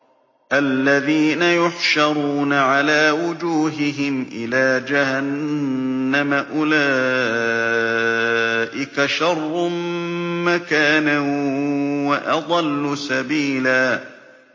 الَّذِينَ يُحْشَرُونَ عَلَىٰ وُجُوهِهِمْ إِلَىٰ جَهَنَّمَ أُولَٰئِكَ شَرٌّ مَّكَانًا وَأَضَلُّ سَبِيلًا